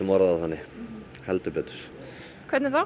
orða það þannig heldur betur hvernig þá